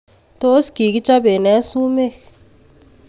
Tos kikichapen nee sumek